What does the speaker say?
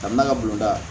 Ka n'a ka bolida